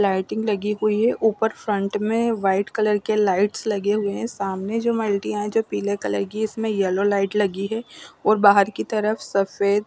लाटिंग लगी हुई है ऊपर फ्रंट में वाइट कलर की लाइट्स लगे हुए है सामने जो मलटीया है पीले कलर की है इसमें येल्लो लाइट्स लगी है और बहार की तरफ सफ़ेद --